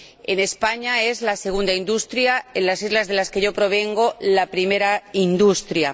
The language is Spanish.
En España es la segunda industria. En las islas de las que yo provengo, la primera industria.